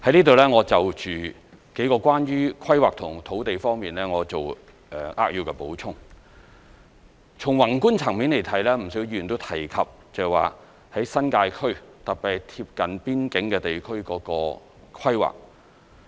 在此，我就有關規劃和土地的數個方面，作扼要補充：從宏觀層面來看，不少議員都提及新界區，特別是貼近邊境地區的規劃。